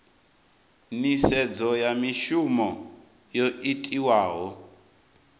nisedzo ya mishumo yo itiwaho